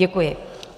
Děkuji.